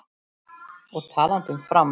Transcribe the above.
Og talandi um Fram.